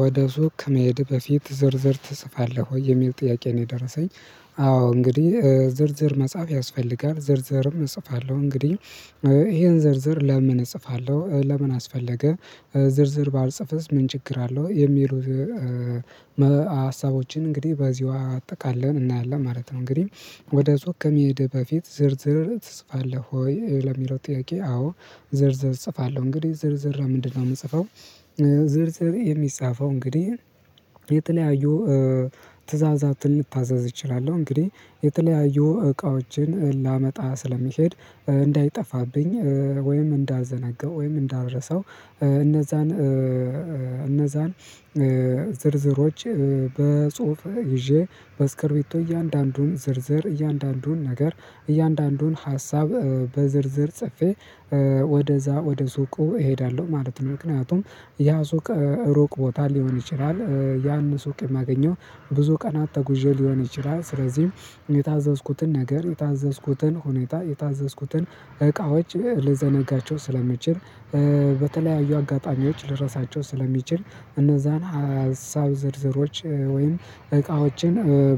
ወደ ሱቅ ከመሄድ በፊት ዝርዝር ትጽፋለህ ወይ የሚል ጥያቄ ነው የደረሰኝ? አዎ እንግዲህ ዝርዝር መጽሐፍ ያስፈልጋል ዝርዝርም እጽፋለሁ እንግዲህ ይሄን ዝርዝር ለምን እጽፋለሁ ለምን አስፈለገ ዝርዝር ባልጽፍስ ምን ችግር አለው የሚሉ ሀሳቦችን እንግዲህ በዚህ ውሃ አጠቃለህ እናያለን ማለት ነው። እንግዲህ ወደ ዞር ከመሄድህ በፊት ዝርዝር ትጽፋለህ ወይ ለሚለው ጥያቄ አዎ? ዝርዝር እጽፋለሁ እንግዲህ ዝርዝር ለምንድነው የምጽፈው። ዝርዝር የሚጻፈው እንግዲህ የጥለያዩ ትእዛዛትን ልታዛዝ እችላለሁ እንግዲህ የጥለያዩ እቃዎችን ላመጣ ስለሚሄድ እንዳይጠፋብኝ ወይም እንዳልዘነጋው ወይም እንዳብረሰው እነዛን እነዛን ዝርዝሮች በጽሁፍ ይዤ በስክርቤቱ እያንዳንዱን ዝርዝር እያንዳንዱን ነገር እያንዳንዱን ሀሳብ በዝርዝር ጽፌ ወደዛ ወደ ሱቁ እሄዳለሁ ማለት ነው። ምክንያቱም ያ ሱቅ ሩቅ ቦታ ሊሆን ይችላል ያን ሱቅ የማገኘው ብዙ ቀናት ተጉዤ ሊሆን ይችላል። ስለዚህም የታዘዝኩትን ነገር የታዘዝኩትን ሁኔታ የታዘዝኩትን እቃዎች ልዘነጋቸው ስለምችል በተለያዩ አጋጣሚዎች ልረሳቸው ስለሚችል እነዛን ሀሳብ ዝርዝሮች ወይም እቃዎችን